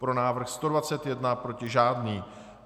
Pro návrh 121, proti žádný.